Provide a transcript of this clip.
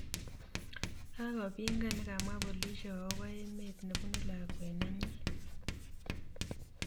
Kagopingan negamwa polishek agopo emet nepunu lakwet nenyi